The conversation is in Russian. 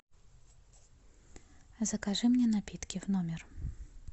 закажи мне напитки в номер